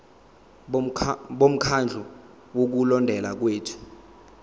bomkhandlu wokulondeka kwethu